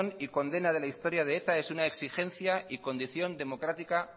y condena de la historia de eta es una exigencia y condición democrática